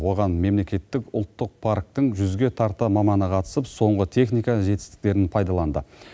оған мемлекеттік ұлттық парктің жүзге тарта маманы қатысып соңғы техника жетістіктерін пайдаланды